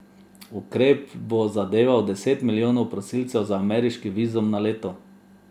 Ukrep bo zadeval deset milijonov prosilcev za ameriški vizum na leto.